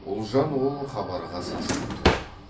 ұлжан ол хабарға сасқан жоқ